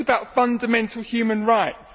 This is about fundamental human rights.